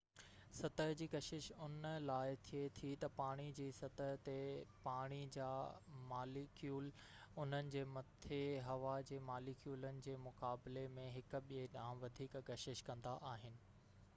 سطح جي ڪشش ان لاءِ ٿئي ٿي تہ پاڻي جي سطح تي پاڻي جا ماليڪيول انهن جي مٿي هوا جي ماليڪيولن جي مقابلي ۾ هڪ ٻئي ڏانهن وڌيڪ ڪشش ڪندا آهن